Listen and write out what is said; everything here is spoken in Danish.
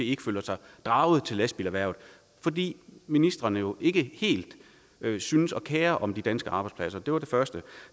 ikke føler sig draget mod lastbilerhvervet fordi ministrene jo ikke helt synes at kere sig om de danske arbejdspladser det var det første